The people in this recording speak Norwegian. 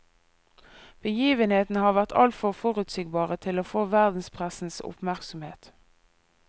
Begivenhetene har vært altfor forutsigbare til å få verdenspressens oppmerk somhet.